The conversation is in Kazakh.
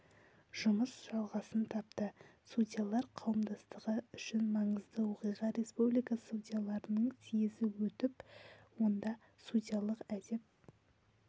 жұмыс жалғасын тапты судьялар қауымдастығы үшін маңызды оқиға республика судьяларының съезі өтіп онда судьялық әдеп